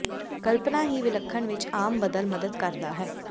ਕਲਪਨਾ ਹੀ ਵਿਲੱਖਣ ਵਿੱਚ ਆਮ ਬਦਲ ਮਦਦ ਕਰਦਾ ਹੈ